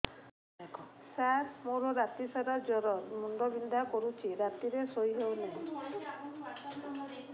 ସାର ମୋର ରାତି ସାରା ଜ୍ଵର ମୁଣ୍ଡ ବିନ୍ଧା କରୁଛି ରାତିରେ ଶୋଇ ହେଉ ନାହିଁ